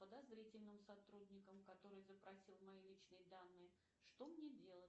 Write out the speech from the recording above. подозрительным сотрудником который запросил мои личные данные что мне делать